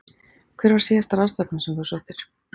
Hver var síðasta ráðstefnan sem þú sóttir?